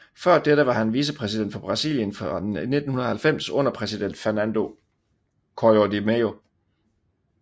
Før dette var han vicepræsident for Brasilien fra 1990 under præsident Fernando Collor de Mello